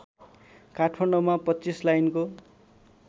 काठमाडौँमा २५ लाइनको